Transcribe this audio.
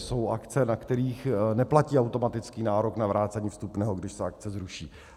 Jsou akce, na kterých neplatí automatický nárok na vrácení vstupného, když se akce zruší.